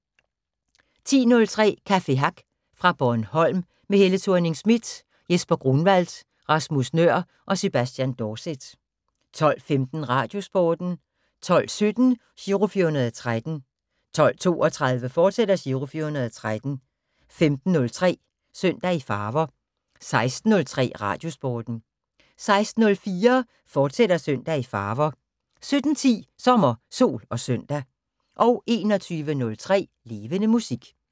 10:03: Café Hack fra Bornholm med Helle Thorning Schmidt, Jesper Grunwald, Rasmus Nøhr og Sebastian Dorset 12:15: Radiosporten 12:17: Giro 413 12:32: Giro 413, fortsat 15:03: Søndag i Farver 16:03: Radiosporten 16:04: Søndag i Farver, fortsat 17:10: Sommer, Sol og Søndag 21:03: Levende Musik